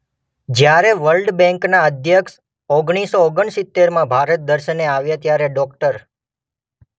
જ્યારે વર્લ્ડ બેંકના અધ્યક્ષ ઓગણીસ સો ઓગણસિતેરમાં ભારત દર્શને આવ્યા ત્યારે ડોક્ટર